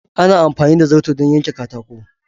Ana amfani da zarto don yanke katako.